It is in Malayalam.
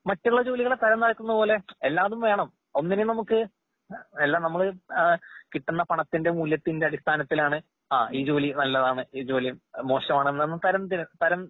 മറ്റുള്ളജോലികളെ തരംതാഴ്ത്തുന്നപോലെ എല്ലാതുംവേണം ഒന്നിനുംനമുക്ക് എല്ലാംനമ്മള് ഏഹ് കിട്ടുന്നപണത്തിന്റെ മൂലത്തിന്റടിസ്ഥാനത്തിലാണ് അ ഈ ജോലി നല്ലതാണ് ഈ ജോലി മോശമാണെന്നാന്ന് തരംതിര് തരം